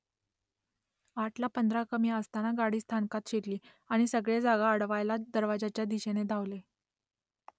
आठला पंधरा कमी असताना गाडी स्थानकात शिरली आणि सगळे जागा अडवायला दरवाज्याच्या दिशेने धावले